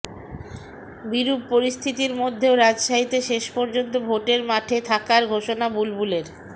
বিরুপ পরিস্থিতির মধ্যেও রাজশাহীতে শেষ পর্যন্ত ভোটের মাঠে থাকার ঘোষনা বুলবুলের